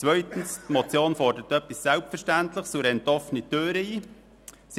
Zweitens: Die Motion fordert etwas Selbstverständliches und rennt offene Türen ein.